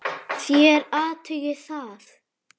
Þér athugið það.